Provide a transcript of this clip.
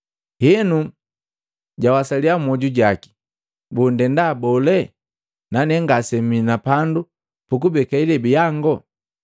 Henu jawasaliya mmwoju jaki, ‘Boo ndenda bole nane ngase mii na pandu pukubeka ilebi yango?’